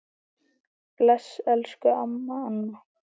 Bless, elsku amma Anna.